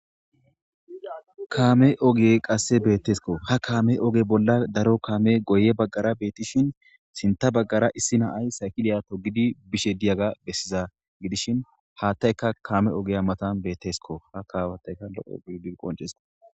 kaame ogey qasse bettesko kaame oge bolla bettesko daro kamey oge bolla bettishin sinta bagara Issi na'ay togidi digay besishe gidishin hatayka kame ogiya matan bettesko ha qonccisses